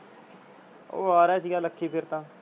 ਓ ਆ ਰਿਹਾ ਸੀ ਲੱਕੀ ਫੇਰ ਤਾਂ